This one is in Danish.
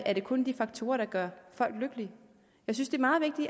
er det kun de faktorer der gør folk lykkelige jeg synes det